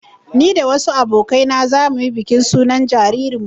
Ni da wasu abokai na za mu yi bikin sunan jaririnmu